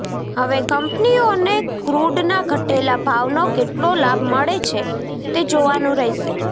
હવે કંપનીઓને ક્રૂડના ઘટેલા ભાવનો કેટલો લાભ મળે છે તે જોવાનું રહેશે